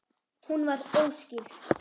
Hún var óskírð.